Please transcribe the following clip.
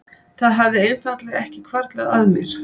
Það hafði einfaldlega ekki hvarflað að mér.